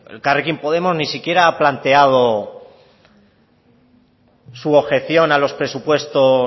elkarrekin podemos ni siquiera ha planteado su objeción a los presupuestos